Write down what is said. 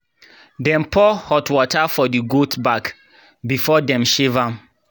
dem pour hot water for the goat back before dem shave am.